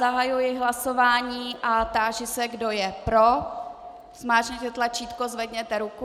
Zahajuji hlasování a táži se, kdo je pro, zmáčkněte tlačítko, zvedněte ruku.